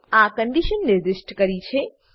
આ કન્ડીશન નિર્દિષ્ટ કરીછે